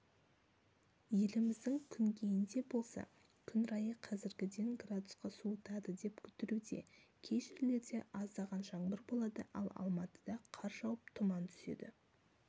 еліміздің күнгейінде болса күн райы қазіргіден градусқа суытады деп күтілуде кей жерлерде аздаған жаңбыр болады ал алматыда қар жауып тұман түседі